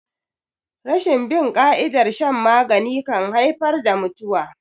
Rashin bin ƙa'idar shan magani kan haifar da mutuwa.